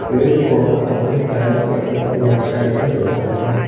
फिर वो आदमी शायद कहीं पे लेफ्ट साइड में देख रहा है।